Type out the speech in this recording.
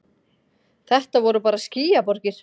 Þetta voru bara skýjaborgir.